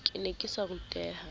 ke ne ke sa ruteha